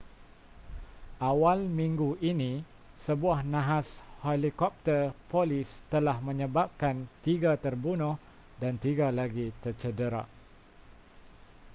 awal minggu ini sebuah nahas helikopter polis telah menyebabkan tiga terbunuh dan tiga lagi tercedera